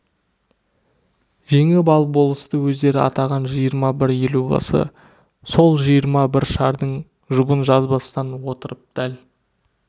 жеңіп алып болысты өздері атаған жиырма бір елубасы сол жиырма бір шардың жұбын жазбастан отырып дәл